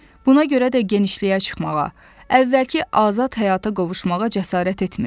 Buna görə də genişliyə çıxmağa, əvvəlki azad həyata qovuşmağa cəsarət etmirdi.